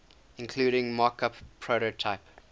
including mockup prototype